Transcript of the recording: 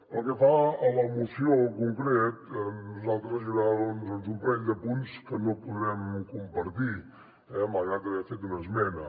pel que fa a la moció en concret nosaltres hi haurà un parell de punts que no podrem compartir malgrat haver ne fet una esmena